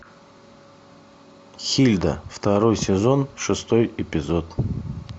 хильда второй сезон шестой эпизод